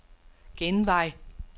genvej